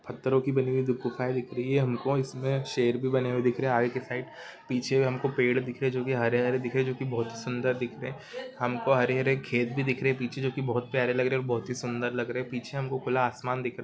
पत्थरों की बनी हुई दो गुफाऐं दिख रही है। हमको इसमें शेर भी बने हुए दिख रहे हैं आगे की साइड। पीछे हमको पेड़ भी दिख रहे जो कि हरे हरे दिख रहे हैं जोकि बहुत ही सुंदर दिख रहे हैं। हमको हरे हरे खेत भी दिख रहे हैं पीछे जो की बहुत प्यारे लग रहे हैं बहुत ही सुंदर लग रहे हैं। पीछे हमको खुला आसमान दिख रहा है।